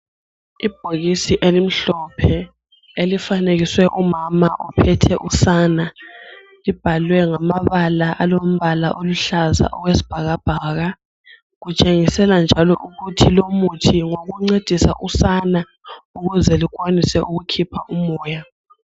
Ibhokisi elimhlophe elifanekiswe umama ophethe usana libhalwe ngamabala alombala oluhlaza okwesibhakabhaka . Kutshengisela njalo ukuthi lumuthi ngowokuncedisa usana ukuze lukwanise ukukhipha umoya.